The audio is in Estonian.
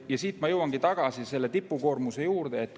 Ja siit ma jõuangi tagasi tipukoormuse juurde.